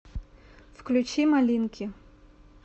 включи малинки